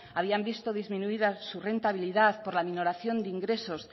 por la aminoración de ingresos